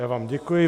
Já vám děkuji.